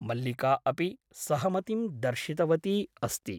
मल्लिका अपि सहमतिं दर्शितवती अस्ति ।